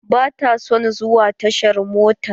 Ba ta son zuwa tashar mota.